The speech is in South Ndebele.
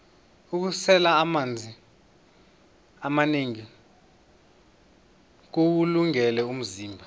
ukusela amanzi amanengi kuwulungele umzimba